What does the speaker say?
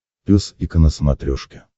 пес и ко на смотрешке